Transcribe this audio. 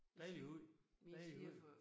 Dejlig hund dejlig hund